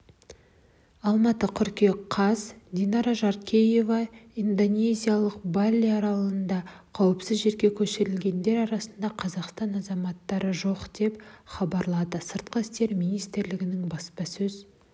алматы қыркүйек қаз динара жаркеева индонезиялық бали аралында қауіпсіз жерге көшірілгендер арасында қазақстан азаматтары жоқ деп хабарлады сыртқы істер министрлігінің баспасөз